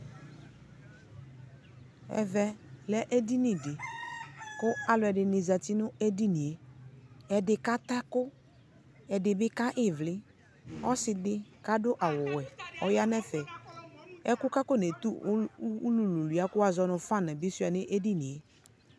ʒvʒ lʒ ʒdini di, kʋ alʋʒdini zati nʋ ʒdiniʒ, ʒdi kata ʒku, ʒdibi kaha ivli, ɔsiidi ku adu awʋ wʒʒ ɔya nʋ ʒfʒ, ʒku kʋ aƒɔnʒtʋ ʋlʋ wuwli kʋ wazɔnʋ fan ʒʒ bi sua nʋ ʒdini ʒ